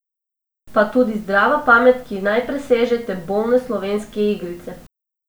Pa tudi zdrava pamet, ki naj preseže te bolne slovenske igrice!